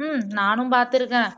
ஹம் நானும் பார்த்துருக்கேன்